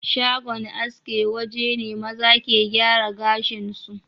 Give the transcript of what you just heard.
Shagon aske waje ne maza ke giyara gashin su